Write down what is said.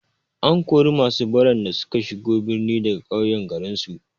An kori masu baran da suka shigo birni daga ƙauye garinsu.